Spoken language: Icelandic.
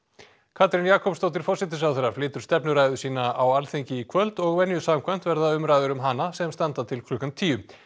Katrín Jakobsdóttir forsætisráðherra flytur stefnuræðu sína á Alþingi í kvöld og venju samkvæmt verða umræður um hana sem standa til klukkan tíu